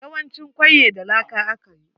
Yawancin kwaiye da laka aka yi.